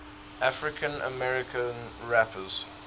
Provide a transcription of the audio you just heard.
african american rappers